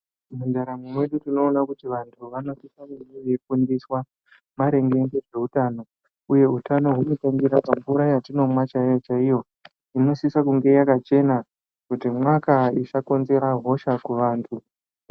Mundaramo mwedu tinoona kuti vantu vanosisa kunge veifundiswa maringe ngezveutano. Uye utano hunotangira pamvura chaiyo-chaiyo. Inosisa kunge yakachena kuti mwaka-a, isakonzera hosha kuvantu.